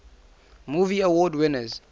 movie award winners